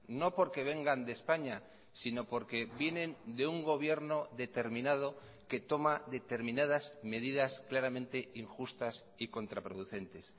no porque vengan de españa sino porque vienen de un gobierno determinado que toma determinadas medidas claramente injustas y contraproducentes